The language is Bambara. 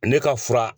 Ne ka fura